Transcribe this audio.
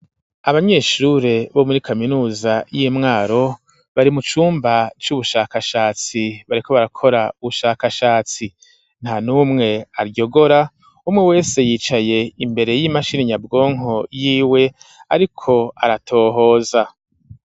Abanyeshure bo muri kaminuza y'imwaro bari mu cumba c'ubushakashatsi bareko barakora ubushakashatsi nta n'umwe aryogora umwe wese yicaye imbere y'imashina nyabwonko yiwe, ariko aratohoza.